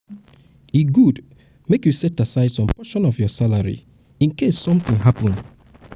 e good make u set aside some portion of your salary incase something happen